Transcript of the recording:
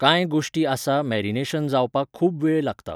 कांय गोश्टी आसा मॅरिनेशन जावपाक खूब वेळ लागता.